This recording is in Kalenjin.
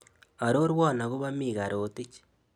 Arorwon agobo mika Rotich